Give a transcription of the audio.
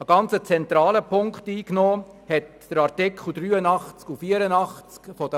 Einen ganz zentralen Punkt stellten die Artikel 83 und 84 über die Fahrenden dar.